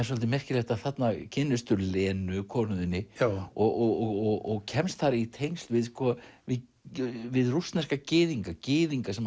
svolítið merkilegt að þarna kynnistu Lenu konu þinni og kemst þar í tengsl við við við rússneska gyðinga gyðinga sem